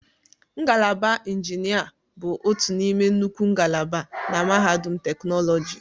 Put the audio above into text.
Ngalaba injinia bụ otu n'ime nnukwu ngalaba na mahadum teknoloji.